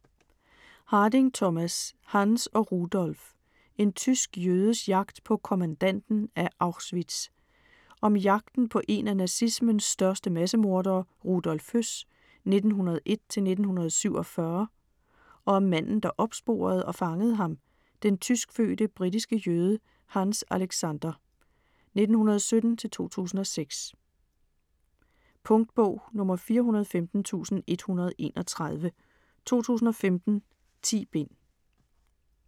Harding, Thomas: Hanns og Rudolf: en tysk jødes jagt på kommandanten af Auschwitz Om jagten på en af nazismens største massemordere, Rudolf Höss (1901-1947), og om manden der opsporede og fangede ham, den tyskfødte britiske jøde, Hanns Alexander (1917-2006). Punktbog 415131 2015. 10 bind.